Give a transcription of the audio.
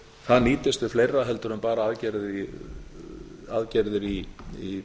það nýtist við fleira heldur en bara aðgerðir í